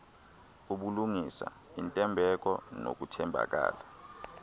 ubulungisa intembeko nokuthembakala